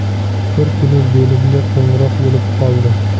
Bir kuni bo‘limga qo‘ng‘iroq bo‘lib qoldi.